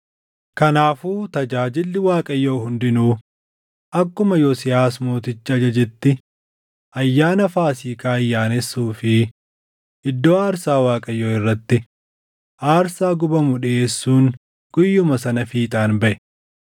Kanaafuu tajaajilli Waaqayyoo hundinuu akkuma Yosiyaas Mootichi ajajetti ayyaana Faasiikaa ayyaanessuu fi iddoo aarsaa Waaqayyoo irratti aarsaa gubamu dhiʼeessuun guyyuma sana fiixaan baʼe.